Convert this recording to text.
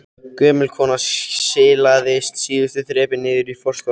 Gömul kona silaðist síðustu þrepin niður í forstofuna.